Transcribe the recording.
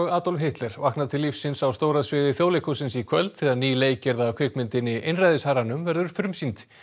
Adolf Hitler vakna til lífsins á stóra sviði Þjóðleikhússins í kvöld þegar ný leikgerð af kvikmyndinni einræðisherranum verður frumsýnd